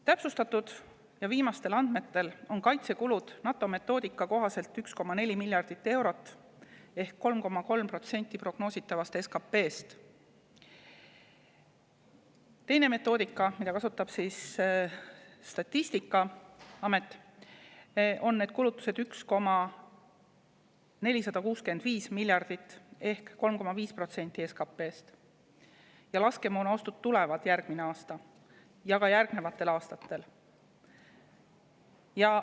Täpsustatud viimastel andmetel on kaitsekulud NATO metoodika kohaselt 1,4 miljardit eurot ehk 3,3% prognoositavast SKP‑st. Teise metoodika järgi, mida kasutab Statistikaamet, on need kulutused 1,465 miljardit ehk 3,5% SKP‑st. Laskemoonaostud tulevad järgmisel aastal ja ka järgnevatel aastatel.